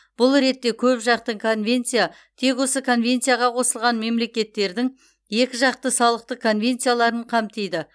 бұл ретте көпжақты конвенция тек осы конвенцияға қосылған мемлекеттердің екіжақты салықтық конвенцияларын қамтиды